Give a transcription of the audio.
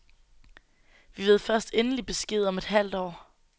Vi ved først endelig besked om et halvt år.